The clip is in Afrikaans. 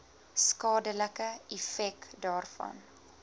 skadelike effek daarvan